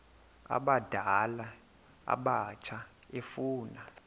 abadala abatsha efuna